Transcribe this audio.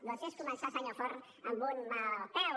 doncs és començar senyor forn amb un mal peu